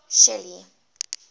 shelly